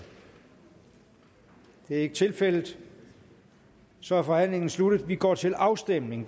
det er ikke tilfældet så er forhandlingen sluttet og vi går til afstemning